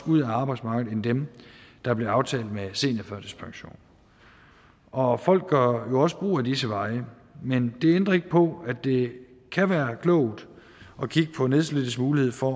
ud af arbejdsmarkedet end dem der blev aftalt med seniorførtidspensionen og folk gør jo også brug af disse veje men det ændrer ikke på at det kan være klogt at kigge på nedslidtes mulighed for